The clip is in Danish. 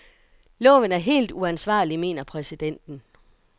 Loven er helt uansvarlig, mener præsidenten.